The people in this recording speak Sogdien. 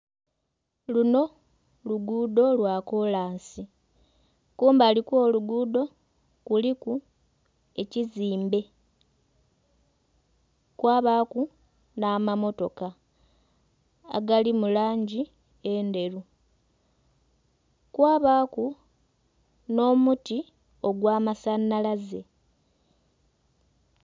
Luno luguudo lwa kolansi. Kumbali kw'oluguudo kuliku ekizimbe kwabaaku n'amamotoka agali mu langi endheru kwabaaku n'omuti ogw'amasanalaze.